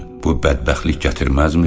Bu bədbəxtlik gətirməzmi?